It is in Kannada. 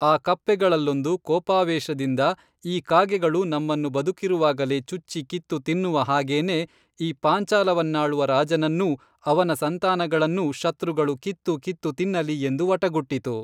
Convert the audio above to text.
ಆ ಕಪ್ಪೆಗಳಲ್ಲೊಂದು ಕೋಪಾವೇಶದಿಂದ ಈ ಕಾಗೆಗಳು ನಮ್ಮನ್ನು ಬದುಕಿರುವಾಗಲೇ ಚುಚ್ಚಿ ಕಿತ್ತು ತಿನ್ನುವ ಹಾಗೇನೇ ಈ ಪಾಂಚಾಲವನ್ನಾಳುವ ರಾಜನನ್ನೂ ಅವನ ಸಂತಾನಗಳನ್ನೂ ಶತ್ರುಗಳು ಕಿತ್ತು ಕಿತ್ತು ತಿನ್ನಲಿ ಎಂದು ವಟಗುಟ್ಟಿತು